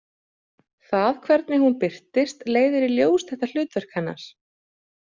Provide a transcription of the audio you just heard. Það hvernig hún birtist leiðir í ljós þetta hlutverk hennar.